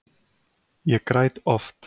Ég græt oft.